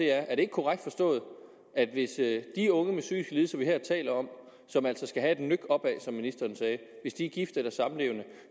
er er det ikke korrekt forstået at hvis de unge med psykiske lidelser vi her taler om som altså skal have et nøk opad som ministeren sagde er gifte eller samlevende